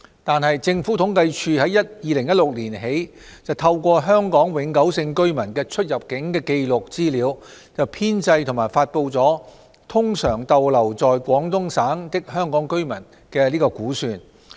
然而，政府統計處自2016年起透過香港永久性居民的出入境紀錄資料，編製及發布"通常逗留在廣東省的香港居民"的估算。